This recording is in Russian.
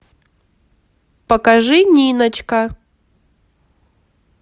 покажи ниночка